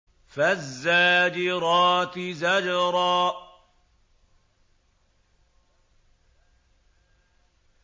فَالزَّاجِرَاتِ زَجْرًا